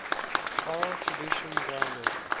oral tradition grounded